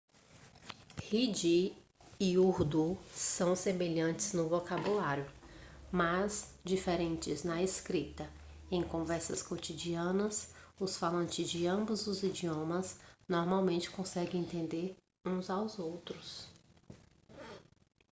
hindi e urdu são semelhantes no vocabulário mas diferentes na escrita em conversas cotidianas os falantes de ambos os idiomas normalmente conseguem entender uns aos outros